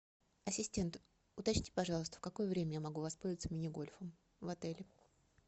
ассистент уточните пожалуйста в какое время я могу воспользоваться мини гольфом в отеле